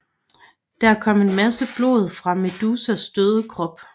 Der kom en masse blod fra Medusas døde krop